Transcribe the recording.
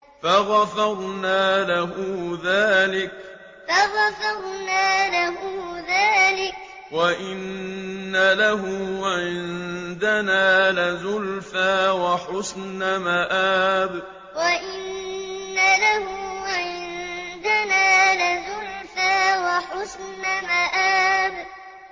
فَغَفَرْنَا لَهُ ذَٰلِكَ ۖ وَإِنَّ لَهُ عِندَنَا لَزُلْفَىٰ وَحُسْنَ مَآبٍ فَغَفَرْنَا لَهُ ذَٰلِكَ ۖ وَإِنَّ لَهُ عِندَنَا لَزُلْفَىٰ وَحُسْنَ مَآبٍ